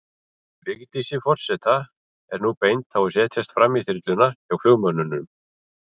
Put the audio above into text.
Vigdísi forseta er nú bent á að setjast framí þyrluna, hjá flugmönnum.